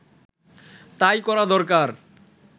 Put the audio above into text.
তাই করা দরকার